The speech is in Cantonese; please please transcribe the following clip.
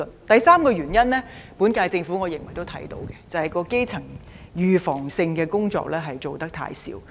第三個原因，我認為本屆政府也察覺得到，那就是基層預防性的工作做得太少。